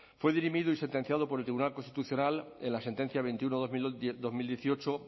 fue dirimido y sentenciado por el tribunal constitucional en la sentencia veintiuno barra dos mil dieciocho